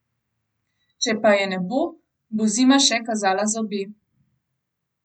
Če pa je ne bo, bo zima še kazala zobe.